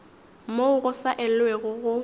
moo go sa elwego go